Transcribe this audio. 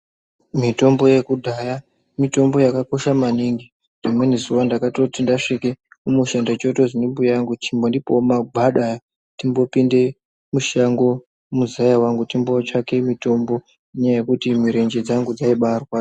Mitombo yekudhaya mitombo yakakosha maningi rimweni zuwa ndakatoti ndasvike kumusha ndochotozwi ndimbuya angu chimbondipawo magwada aya timbopinde mushango muzaya wangu timbootsvake mitombo nenyaya yekuti mirenje dzangu dzaibaarwadza.